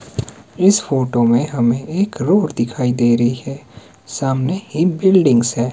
इस फोटो में हमें एक रोड दिखाई दे रही है सामने ही बिल्डिंगस् हैं।